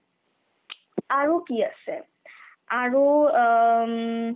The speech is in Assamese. আৰু কি আছে আৰু অ উম